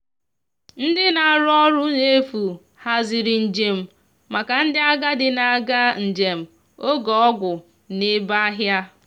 ndi na arụ ọrụ na efu haziri njem maka ndi agadi na aga njem oge ọgwụ na ebe ahia